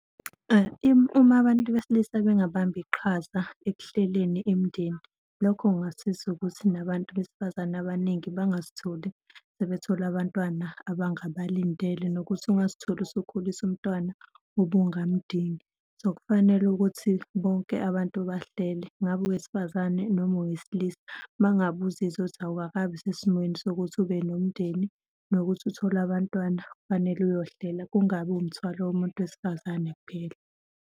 Uma abantu besilisa bengabamba iqhaza ekuhleleni imindeni, lokho kungasiza ukuthi nabantu besifazane abaningi bangazitholi sebethola abantwana abangabalindele nokuthi ungazitholi usukhulisa umntwana obungamdingi. So, kufanele ukuthi bonke abantu bahlele, ngabe owesifazane noma owesilisa, uma ngabe uzizwa ukuthi awukakabi sesimweni sokuthi ube nomndeni nokuthi uthole abantwana kufanele uyohlela, kungabi umthwalo womuntu wesifazane kuphela.